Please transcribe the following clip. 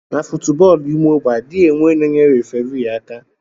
Na foootbọọlụ ime ogbe adighi enwe onye na eyere referi aka.